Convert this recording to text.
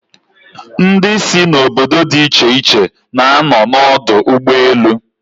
Ndi si n'obodo di iche iche na-ano n'odu ugboelu